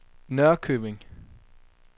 Norrköping